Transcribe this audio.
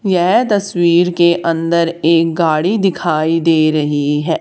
यह तस्वीर के अंदर एक गाड़ी दिखाई दे रही है।